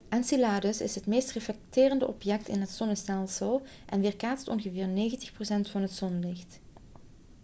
enceladus is het meest reflecterende object in het zonnestelsel en weerkaatst ongeveer 90 procent van het zonlicht